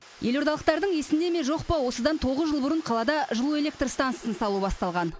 елордалықтардың есінде ме жоқ па осыдан тоғыз жыл бұрын қалада жылу электр стансысын салу басталған